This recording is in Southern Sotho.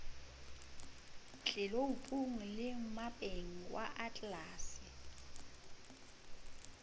tleloupung le mmapeng wa atlelase